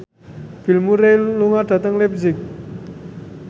Bill Murray lunga dhateng leipzig